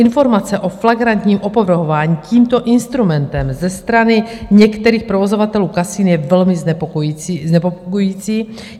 Informace o flagrantním opovrhování tímto instrumentem ze strany některých provozovatelů kasin je velmi znepokojující.